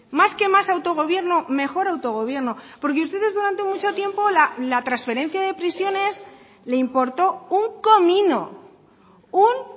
más que más autogobierno mejor autogobierno porque ustedes durante mucho tiempo la transferencia de prisiones le importó un comino un